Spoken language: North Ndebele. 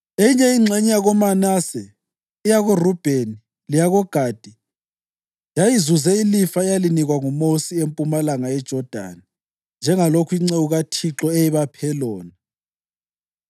Eyinye ingxenye yakoManase, eyakoRubheni leyakoGadi yayizuze ilifa eyalinikwa nguMosi empumalanga yeJodani njengalokho inceku kaThixo eyayibaphe lona.